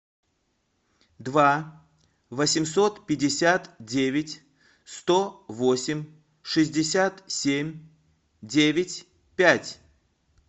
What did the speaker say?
два восемьсот пятьдесят девять сто восемь шестьдесят семь девять пять